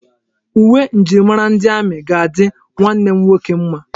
Uwe njirimara ndi amị ga-adị nwanne m nwoke mma.